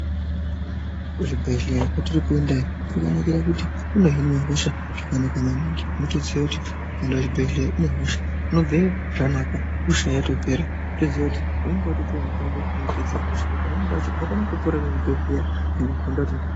Kuzvibhedhlera kwatiri kuenda ino kwakanakira kuti kunohinwa hosha zvakanaka maningi onotoziya kuti ukaenda kuchibhedhlera une hosha unobveyo zvanaka hosha yatopera wotoziva kuti unenge watopuwa mutombo unopedza hosha pamweni pacho unokona kupona nechibhedhlera nekugonda.